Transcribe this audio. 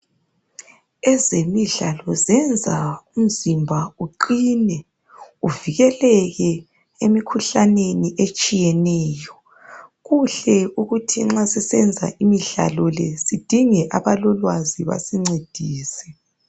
Ezemidlalo zenza umzimba uqine uvikeleke emikhuhlaneni etshiyeneyo kuhle ukuthi nxa sisenza imidlalo le sidinge abalolwazi basincedise.